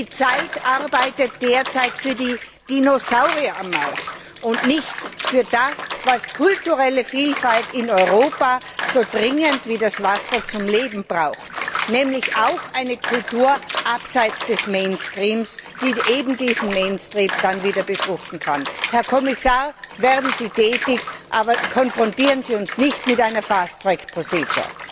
Die Zeit arbeitet derzeit für die Dinosaurier am Markt und nicht für das, was kulturelle Vielfalt in Europa so dringend wie das Wasser zum Leben braucht, nämlich auch eine Kultur abseits des Mainstreams, die eben diesen Mainstream dann wieder befruchten kann. Herr Kommissar, werden Sie tätig, aber konfrontieren Sie uns nicht mit einer fast track procedure